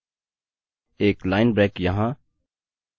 एक line break यहाँ